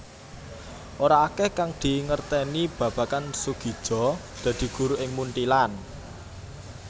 Ora akèh kang dingertèni babagan Soegija dadi guru ing Munthilan